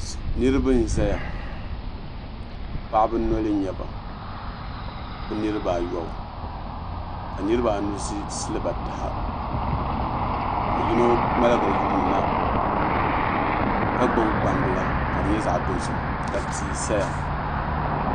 Niraba n ʒɛya paɣaba noli n nyɛba bi niraba ayobu ka niraba anu ʒi siliba taha ka yino ŋmaligi yuundi na ka gbubi gbambila ka di nyɛ zaɣ dozim ka tia saya